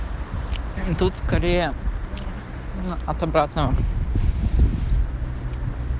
тут скорее от обратного